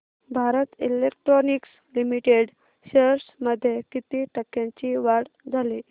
Bharat electronics limited shares मध्ये किती टक्क्यांची वाढ झाली